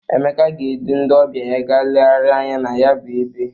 Emeka ga-edu ndị ọbịa ya ga legharịa anya na ya bụ ebe.